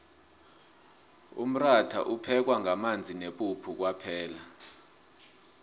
umratha uphekwa ngamanzi nepuphu kwaphela